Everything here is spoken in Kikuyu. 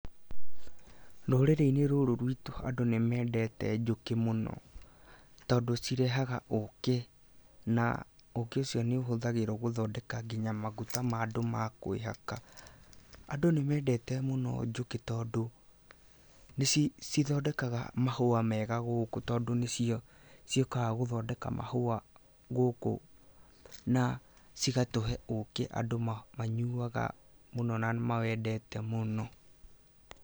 Rũrĩrĩ-inĩ rũrũ rwitũ andũ nĩ mendete njũkĩ mũno, tondũ cirehaga ũkĩ na ũkĩ ũcio nĩuhũthagĩrwo gũthondeka nginya maguta ma andũ makwĩhaka. Andũ nĩ mendete mũno njũki tondũ, nĩcithondekaga mahũa mega gũkũ tondũ nĩciũkaga gũthondeka mahũa gũkũ, na cigatũhe ũkĩ andũ manyuaga mũno na nĩ mawendete mũno.